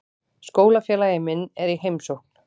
Skólafélagi minn er í heimsókn.